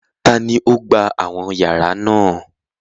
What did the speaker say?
Taàní ó gbà àwọn yàrá náà?